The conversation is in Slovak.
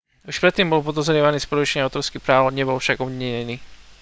už predtým bol podozrievaný z porušenia autorských práv nebol však obvinený